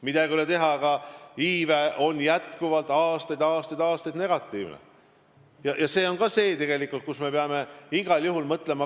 Midagi ei ole teha, iive on jätkuvalt aastaid-aastaid-aastaid negatiivne olnud ja selle üle me peame igal juhul mõtlema.